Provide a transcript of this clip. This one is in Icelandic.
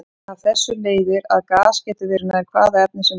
Af þessu leiðir að gas getur verið nær hvaða efni sem er.